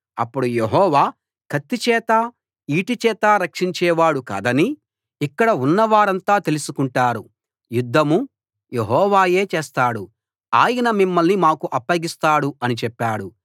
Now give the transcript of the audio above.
అప్పుడు యెహోవా కత్తిచేత ఈటెచేత రక్షించేవాడు కాదని ఇక్కడ ఉన్నవారంతా తెలుసుకుంటారు యుద్ధం యెహోవాయే చేస్తాడు ఆయన మిమ్మల్ని మాకు అప్పగిస్తాడు అని చెప్పాడు